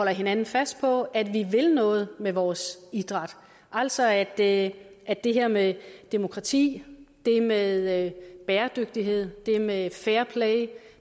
hinanden fast på at vi vil noget med vores idræt altså at at det her med demokrati det med bæredygtighed det med fairplay